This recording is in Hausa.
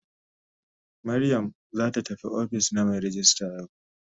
Mariam zata tafi ofis na mai rejista yau.